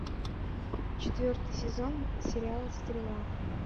четвертый сезон сериал стрела